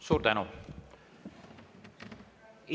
Suur tänu!